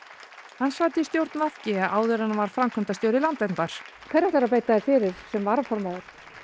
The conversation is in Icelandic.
hann sat í stjórn v g áður en hann varð framkvæmdastjóri Landverndar hverju ætlarðu að beita þér fyrir sem varaformaður